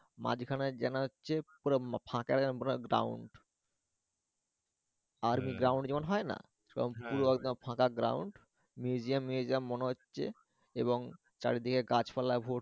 মাঝখানে দেখা যাচ্ছ পুরা ফাঁকা পুরা ground আর ground যেমন হয় না সব পুরো একদম ফাঁকা ground museum museum মনে হচ্ছে এবং চারদিকে গাছপালায়।